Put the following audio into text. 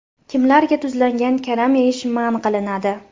Kimlarga tuzlangan karam yeyish man qilinadi?